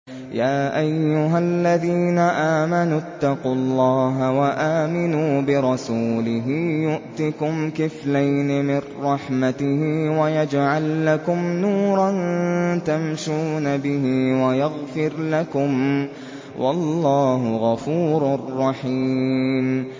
يَا أَيُّهَا الَّذِينَ آمَنُوا اتَّقُوا اللَّهَ وَآمِنُوا بِرَسُولِهِ يُؤْتِكُمْ كِفْلَيْنِ مِن رَّحْمَتِهِ وَيَجْعَل لَّكُمْ نُورًا تَمْشُونَ بِهِ وَيَغْفِرْ لَكُمْ ۚ وَاللَّهُ غَفُورٌ رَّحِيمٌ